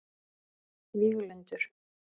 Víglundur